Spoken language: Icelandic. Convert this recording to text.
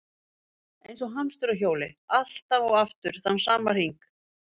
Eins og hamstur á hjóli, aftur og aftur þann sama hring.